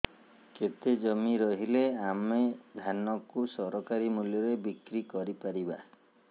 କେତେ ଜମି ରହିଲେ ଆମେ ଧାନ କୁ ସରକାରୀ ମୂଲ୍ଯରେ ବିକ୍ରି କରିପାରିବା